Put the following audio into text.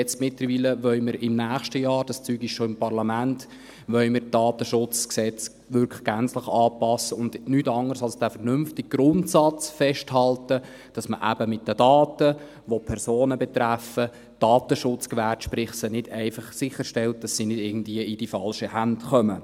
Mittlerweile wollen wir nächstes Jahr – das Zeug ist schon im Parlament – das DSG wirklich gänzlich anpassen und nichts anderes als den vernünftigen Grundsatz festhalten, dass man eben bezüglich der Daten, die Personen betreffen, den Datenschutz gewährleistet, sprich einfach sicherstellt, dass sie nicht irgendwie in die falschen Hände geraten.